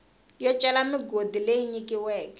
yo cela migodi leyi nyikiweke